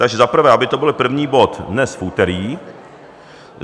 Takže za prvé, aby to byl první bod dnes, v úterý.